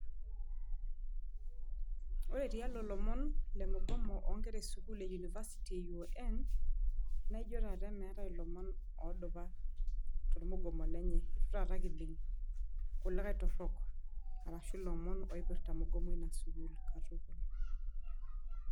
Ore tialo ilomon le mugomo oonkera esukuul e University e UoN naa ijio taata meetai ilomon oodupa tormugomo lenye, itu taata kining' kulikae torrok arashu ilomon oipirta mugoma ena sukuul katukul.